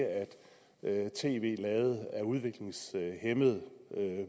at tv lavet af udviklingshæmmede